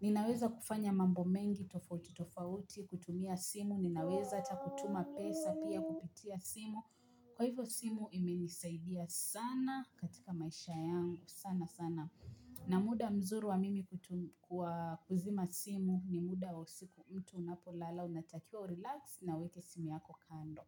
Ninaweza kufanya mambo mengi tofauti tofauti kutumia simu. Ninaweza atakutuma pesa pia kupitia simu Kwa hivyo simu imenisaidia sana katika maisha yangu sana sana na muda mzuri wa mimi kuzima simu ni muda wa usiku mtu unapolala unatakiwa urelax na uweke simu yako kando.